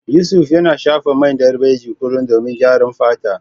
Yusuf yana shafa man darbejiya kullum domin gyaran fata.